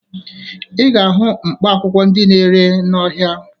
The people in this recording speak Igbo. Ị ga-ahụ mkpaakwụkwọ ndị a na-ere n'ahịa